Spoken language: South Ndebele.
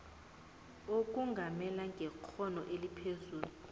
ukongamela ngekghono eliphezulu